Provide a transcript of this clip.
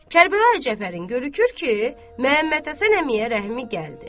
Kərbəlayi Cəfərin görürük ki, Məmmədhəsən əmiyə rəhmi gəldi.